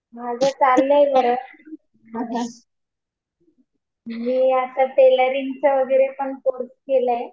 माझं चाललंय बरं. मी आता टेलरिंगचा वगैरे पण कोर्स केलाय.